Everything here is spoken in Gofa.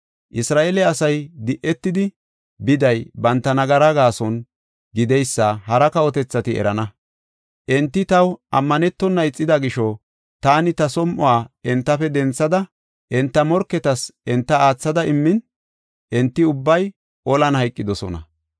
Isra7eele asay di7etidi biday banta nagara gaason, gideysa hara kawotethati erana. Enti taw ammanetona ixida gisho, taani ta som7uwa entafe denthada, enta morketas enta aathada immin, enti ubbay olan hayqidosona.